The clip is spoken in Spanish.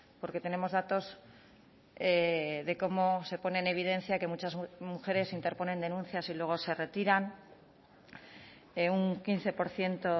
porque tenemos datos de cómo se pone en evidencia que muchas mujeres interponen denuncias y luego se retiran un quince por ciento